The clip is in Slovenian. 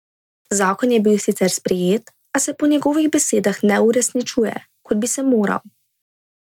Zakon je bil sicer sprejet, a se po njegovih besedah ne uresničuje, kot bi se moral.